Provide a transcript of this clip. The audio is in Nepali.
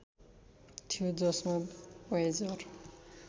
थियो जसमा वायेजर